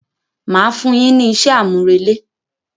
Màá fún un yín ní isé àmúrelé.